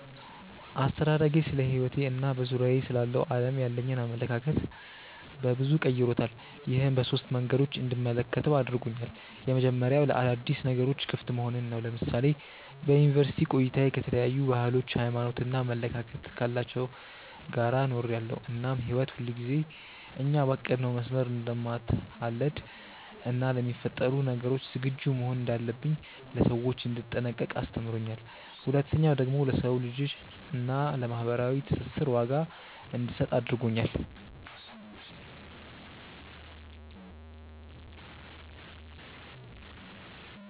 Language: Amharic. አስተዳደጌ ስለሕይወቴ እና በዙሪያዬ ስላለው ዓለም ያለኝን አመለካከት በበዙ ቀይሮታል። ይህም በሶስት መንገዶች እንድመለከተው አድርጎኛል። የመጀመሪያው ለአዳዲስ ነገሮች ክፍት መሆንን ነው። ለምሳሌ በዩኒቨርስቲ ቆይታዬ ከተለያዩ ባህሎች፣ ሃይማኖት እና አመለካከት ካላቸው ጋር ኖሬያለው እናም ህይወት ሁልጊዜ እኛ ባቀድነው መስመር እንደማትሀለድ እና ለሚፈጠሩ ነገሮች ዝግጁ መሆን እንዳለብኝ፣ ለሰዎች እንድጠነቀቅ አስተምሮኛል። ሁለተኛው ደግሞ ለሰው ልጅ እና ለማህበራዊ ትስስር ዋጋ እንድሰጥ አድርጎኛል።